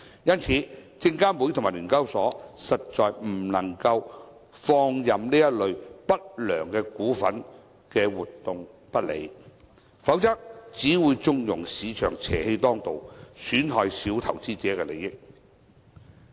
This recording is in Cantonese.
因此，證券及期貨事務監察委員會和聯交所實在不能放任這類不良股份和活動不理，否則只會縱容市場邪氣當道，損害小投資者的利益。